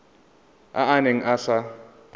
a a neng a sa